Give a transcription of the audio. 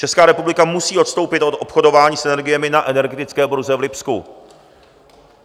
Česká republika musí odstoupit od obchodování s energiemi na energetické burze v Lipsku.